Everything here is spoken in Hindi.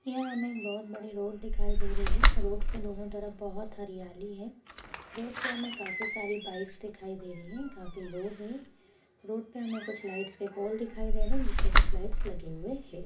यहाँ हमें एक बोहोत बड़ी रोड दिखाई दे रही है। रोड के दोनों तरफ बोहोत हरियाली है। रोड पे हमें काफी सारी बाईक्स दिखाई दे रही हैं। काफी लोग हैं। रोड पे हमें कुछ लाइट्स के पोल दिखाई दे रहे हैं जिसपे कुछ लाइट्स लगे हुए हैं।